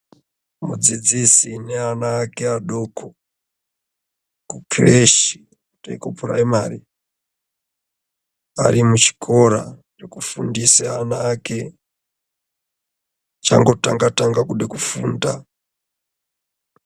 Mudzidzisi neana ake adoko kucreshi nekuprimary ari muchikora chekufundisa ana ake achangotanga - tanga kuda kufunda.